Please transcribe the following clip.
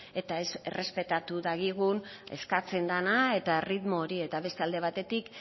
eta ez errespetatu dagigun eskatzen dana eta erritmo hori eta beste alde batetik